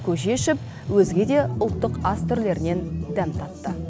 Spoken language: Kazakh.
көже ішіп өзге де ұлттық ас түрлерінен дәм татты